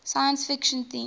science fiction themes